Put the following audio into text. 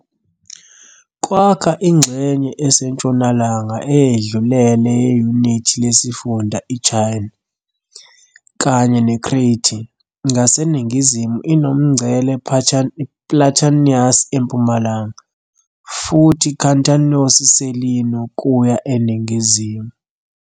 Kwakha ingxenye esentshonalanga eyedlulele yeyunithi lesifunda iChania, kanye neCrete. Ngaseningizimu inomngcele Platanias eMpumalanga, futhi Kantanos-Selino kuya eningizimu.